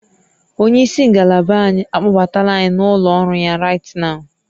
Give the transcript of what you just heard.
Onye isi ngalaba anyị akpọbatala anyị n'ụlọ ọrụ ya right nwo